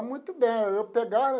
Muito bem, eu pegava.